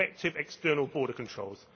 and effective external border controls.